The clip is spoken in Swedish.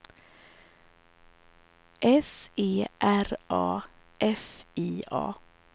S E R A F I A